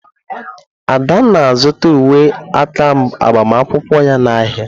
Ada na-azụta uwe aka agbamakwụkwọ ya n'ahịa.